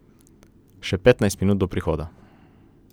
Še petnajst minut do prihoda.